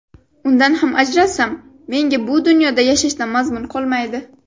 Undan ham ajralsam, menga bu dunyoda yashashdan mazmun qolmaydi”.